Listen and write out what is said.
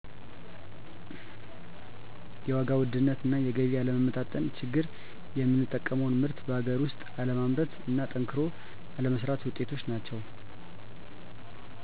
የዋጋ ውድነት እና የገቢ አለመመጣጠን ችግር የምንጠቀመውን ምርት በአገር ውስጥ አለማምረት እና ጠንክሮ አለመስራት ውጤቶች ናቸው